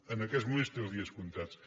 en aquests moments té els dies comptats